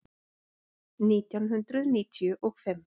Nítján hundruð níutíu og fimm